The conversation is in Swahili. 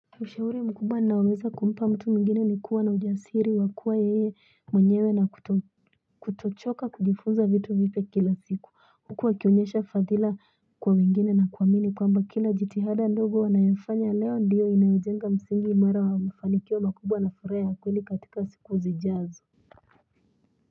Ushahuri mkubwa ni naoweza kumpa mtu mwingine ni kuwa na ujasiri wa kuwa yeye mwenyewe na kutochoka kujifunza vitu vipya kila siku Huku wakionyesha fadhila kwa wengine na kuamini kwamba kila jitihada ndogo wanayofanya leo ndiyo inayojenga msingi imara wa mafanikio makubwa na furaha ya kweli katika siku zijazo.